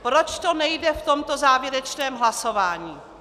Proč to nejde v tomto závěrečném hlasování?